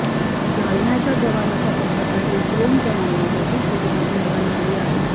जालन्याच्या जवानाच्या संपर्कातील दोन जणांना देखील कोरोनाची लागण झाली आहे